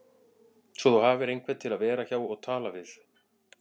Svo þú hafir einhvern til að vera hjá og tala við